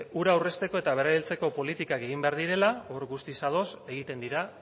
ura aurrezteko eta berrerabiltzeko politikak egin behar direla hor guztiz ados egiten dira